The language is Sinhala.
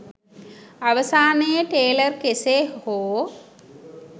අවසානයේ ටේලර් කෙසේ හෝ